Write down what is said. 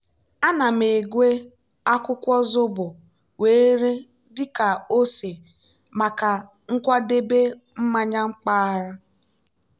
ana m egwe akwụkwọ zobo wee ree dị ka ose maka nkwadebe mmanya mpaghara.